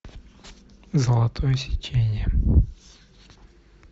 золотое сечение